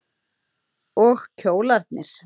Og kjólarnir.